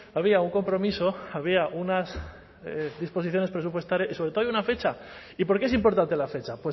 había un compromiso había unas disposiciones presupuestarias y sobre todo hay una fecha y por qué es importante la fecha